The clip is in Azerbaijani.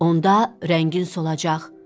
Onda rəngin solacaq.